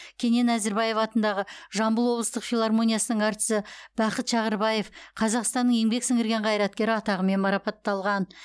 кенен әзірбаев атындағы жамбыл облыстық филармониясының әртісі бақыт шағырбаев қазақстанның еңбек сіңірген қайраткері атағымен марапатталған